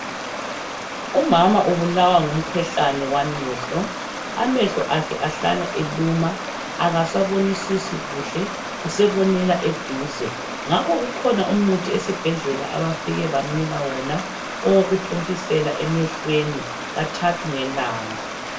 Umama ubulawa ngumkhuhlane wamehlo, amehlo akhe ahlala eluma akasabonisisi kuhle usebonela eduze. Ngakho kukhona umuthi esibhedlela abafike bamnika wona owokuthontisela emehlweni kathathu ngelanga.